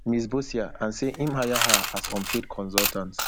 miss boccia and say im hire her as unpaid consultant